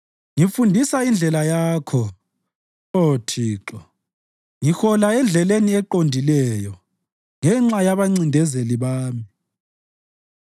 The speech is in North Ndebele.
Ngifundisa indlela Yakho, Oh Thixo; ngihola endleleni eqondileyo ngenxa yabancindezeli bami.